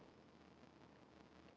Hún er ekki ein lengur.